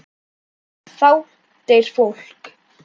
Þá deyr fólk.